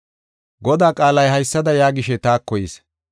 Godaa qaalay haysada yaagishe taako yis.